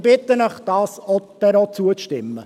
Ich bitte Sie, ihr auch zuzustimmen.